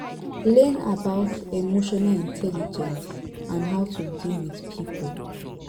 learn about emotional intelligence and how to deal with pipo